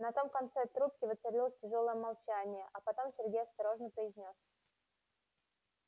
на том конце трубке воцарилось тяжёлое молчание а потом сергей осторожно произнёс